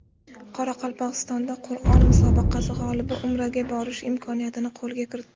Qoraqalpog‘istonda Qur’on musobaqasi g‘olibi Umraga borish imkoniyatini qo‘lga kiritdi.